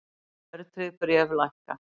Verðtryggð bréf lækka